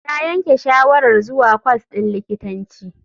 Ta yanke shawarar zuwa kwas din likitanci.